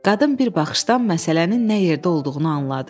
Qadın bir baxışdan məsələnin nə yerdə olduğunu anladı.